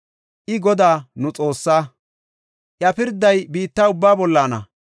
I Godaa nu Xoossaa; iya pirday biitta ubbaa bollana.